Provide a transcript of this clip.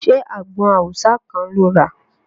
Ṣé àgbọn awùsá kan lo rà?